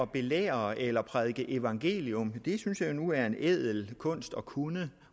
belære eller prædike evangelium synes jeg nu er en ædel kunst at kunne